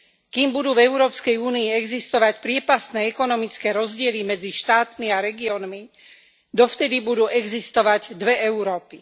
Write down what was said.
Kým budú v Európskej únii existovať priepastné ekonomické rozdiely medzi štátmi a regiónmi, dovtedy budú existovať dve Európy.